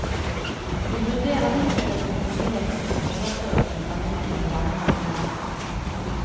Vi vurderer fortløpende muligheten for overføringen av midler landene imellom.